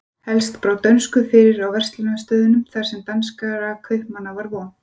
Helst brá dönsku fyrir á verslunarstöðunum þar sem danskra kaupmanna var von.